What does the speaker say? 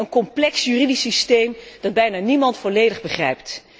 Een complex juridisch systeem dat bijna niemand volledig begrijpt.